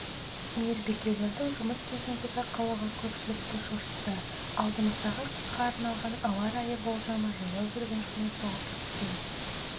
мейірбикелердің жұмыс кезіндегі қылығы көпшілікті шошытты алдымыздағы қысқа арналған ауа райы болжамы жаяу жүргіншіні соғып кеткен